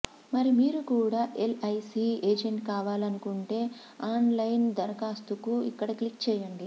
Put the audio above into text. మరి మీరు కూడా ఎల్ఐసీ ఏజెంట్ కావాలనుకుంటే ఆన్లైన్ దరఖాస్తుకు ఇక్కడ క్లిక్ చేయండి